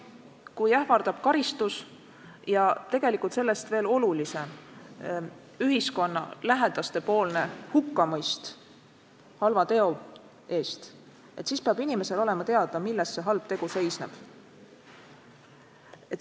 Kui inimest ähvardavad karistus ja sellest veel olulisem ühiskonna ja lähedaste hukkamõist halva teo eest, siis peab talle olema teada, milles see halb tegu on seisnenud.